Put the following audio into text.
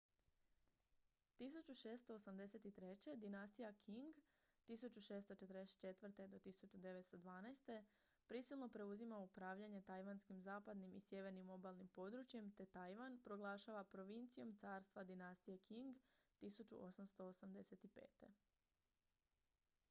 1683. dinastija qing 1644. - 1912. prisilno preuzima upravljanje tajvanskim zapadnim i sjevernim obalnim područjem te tajvan proglašava provincijom carstva dinastije qing 1885